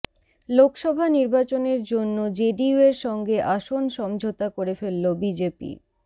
লোকসভা নির্বাচনের জন্য জেডিইউয়ের সঙ্গে আসন সমঝোতা করে ফেলল বিজেপি